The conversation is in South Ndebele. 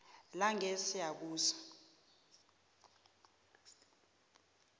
langesiyabuswa